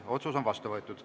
Otsus on vastu võetud.